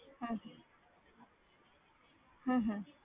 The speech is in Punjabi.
ਹਮ ਹਮ